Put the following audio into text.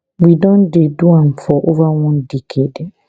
we don dey do am for ova one decade